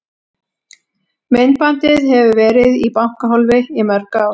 Myndbandið hefur verið í bankahólfi í mörg ár.